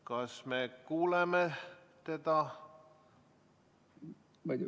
Kas me kuuleme teda?